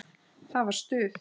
Það var stuð!